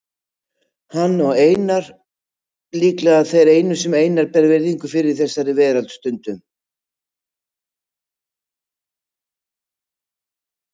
Hann og Pétur líklega þeir einu sem Einar ber virðingu fyrir í þessari veröld, stundum